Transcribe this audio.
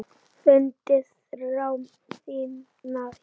Fundið þrá þína hér.